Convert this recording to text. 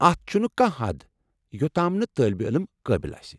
اتھ چھنہٕ کانٛہہ حد یوٚتام نہٕ طٲلبہ علم قٲبل آسہِ۔